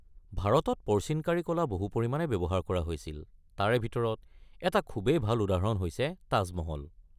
ভাৰতত পৰ্চিনকাৰী কলা বহুত পৰিমাণে ব্যৱহাৰ কৰা হৈছিল; তাৰে ভিতৰত এটা খুবেই ভাল উদাহৰণ হৈছে তাজ মহল।